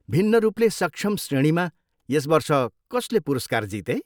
भिन्न रूपले सक्षम श्रेणीमा यस वर्ष कसले पुरस्कार जिते?